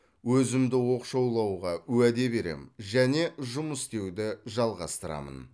өзімді оқшаулауға уәде беремін және жұмыс істеуді жалғастырамын